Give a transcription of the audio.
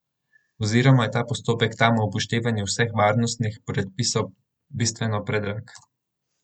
Oziroma je ta postopek tam ob upoštevanju vseh varnostnih predpisov bistveno predrag.